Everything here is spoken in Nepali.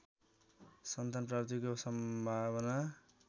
सन्तान प्राप्तिको सम्भावना